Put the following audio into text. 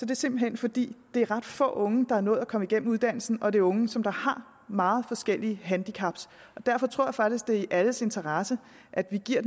det simpelt hen fordi det er ret få unge der er nået igennem uddannelsen og det er unge som har meget forskellige handicap derfor tror jeg faktisk det er i alles interesse at vi giver